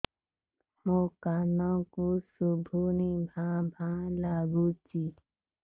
ମୋ କାନକୁ ଶୁଭୁନି ଭା ଭା ଲାଗୁଚି